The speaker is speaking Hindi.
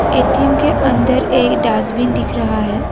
ए_टी_एम के अंदर एक डासबिन दिख रहा है।